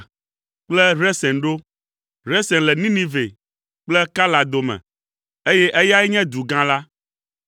kple Resen ɖo; Resen le Ninive kple Kala dome, eye eyae nye du gã la.